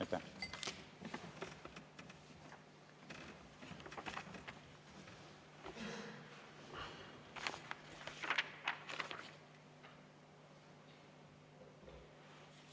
Aitäh!